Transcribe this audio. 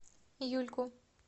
юльку